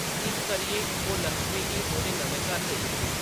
इस करियै, ओह्‌‌ लक्ष्मी गी ओह्‌‌‌दे नमें घर लेई गे ।